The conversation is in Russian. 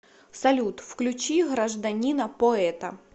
салют включи гражданина поэта